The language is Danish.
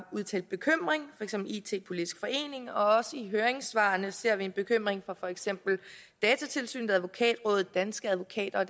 udtalt bekymring eksempel it politisk forening og også i høringssvarene ser vi en bekymring fra for eksempel datatilsynet advokatrådet danske advokater og